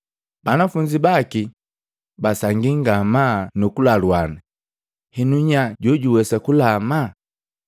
Banafunzi baki basangia ngamaa nu kulaluana, “Henu nya jojwiwesa kulama?”